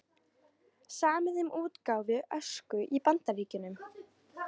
Samið um útgáfu Ösku í Bandaríkjunum